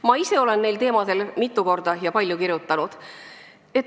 Ma ise olen neil teemadel mitu korda ja palju kirjutanud.